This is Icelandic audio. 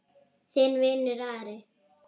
Þinn vinur, Ari.